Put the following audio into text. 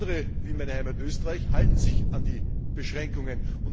Andere wie meine Heimat Österreich halten sich an die Beschränkungen.